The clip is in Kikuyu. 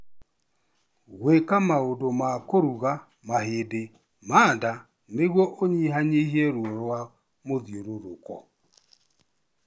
Gwĩka maũndũ ma kũrũga mahĩndĩ ma nda nĩguo ũnyihanyihie ruo rwa mũthiũrũrũko.